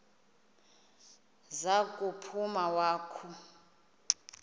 za kuphuma wakhu